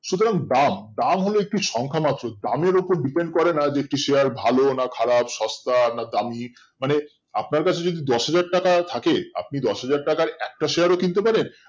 সুতরাং দাম দাম হলো একটি সংখ্যা মাত্র দামের উপর Depend করে না যে একটি Share ভালো না খারাপ সস্তা না দামি মানে আপনার কাছে যদি দশহাজার টাকা থাকে আপনি দশহাজার টাকার একটা Share ও কিনতে পারেন